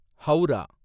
Howrah